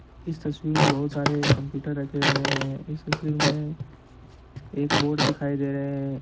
इस तस्वीर में बहुत सारे कंप्यूटर रखे हुए हैं इस तस्वीर में एक बोर्ड दिखाई दे रहे हैं।